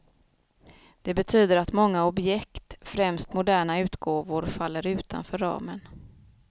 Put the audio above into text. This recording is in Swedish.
Det betyder att många objekt, främst moderna utgåvor, faller utanför ramen.